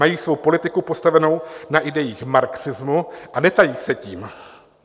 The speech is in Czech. Mají svou politiku postavenou na idejích marxismu a netají se tím.